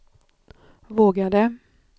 vågade